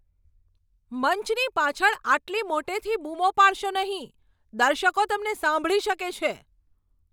મંચની પાછળ આટલી મોટેથી બૂમો પાડશો નહીં. દર્શકો તમને સાંભળી શકે છે.